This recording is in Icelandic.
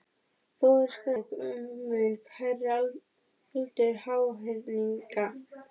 Þó eru skráð tilvik um mun hærri aldur háhyrninga.